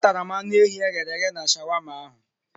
Atara m anụ ehi e ghere eghe na shawama ahụ.